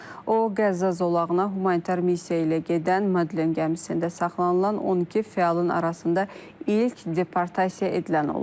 O Qəzza zolağına humanitar missiya ilə gedən Madlen gəmisində saxlanılan 12 fəalın arasında ilk deportasiya edilən olub.